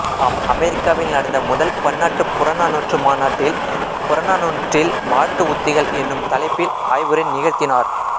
அமெரிக்காவில் நடந்த முதல் பன்னாட்டுப் புறநானூற்று மாநாட்டில் புறநானூற்றில் வாழ்த்து உத்திகள் என்னும் தலைப்பில் ஆய்வுரை நிகழ்த்தினார்